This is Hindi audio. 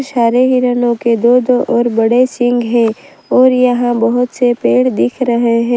सारे हिरणों के दो दो और बड़े सिंह है और यहां बहोत से पेड़ दिख रहे हैं।